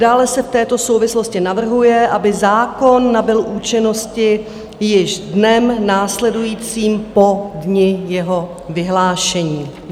Dále se v této souvislosti navrhuje, aby zákon nabyl účinnosti již dnem následujícím po dni jeho vyhlášení.